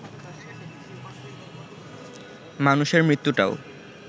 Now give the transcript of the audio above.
মানুষের মৃত্যুটাও